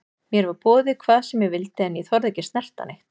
Mér var boðið hvað sem ég vildi en ég þorði ekki að snerta neitt.